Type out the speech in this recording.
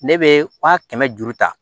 Ne bɛ wa kɛmɛ duuru ta